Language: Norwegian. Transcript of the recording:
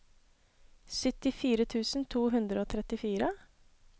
syttifire tusen to hundre og trettifire